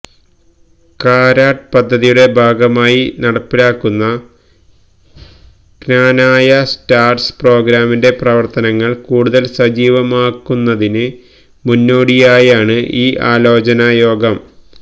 cart പദ്ധതിയുടെ ഭാഗമായി നടപ്പിലാക്കുന്ന ക്നാനായ സ്റ്റാര്സ് പ്രോഗ്രാമിന്റെ പ്രവര്ത്തനങ്ങള് കൂടുതല് സജീവമാക്കുന്നതിന് മുന്നോടിയായാണ് ഈ ആലോചനായോഗം